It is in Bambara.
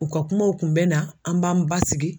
U ka kumaw kun bɛ na an b'an basigi.